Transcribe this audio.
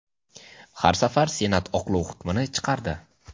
har safar Senat oqlov hukmini chiqardi.